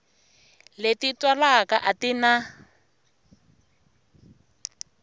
leti twalaka a ti na